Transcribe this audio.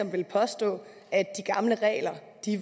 vil påstå at de gamle regler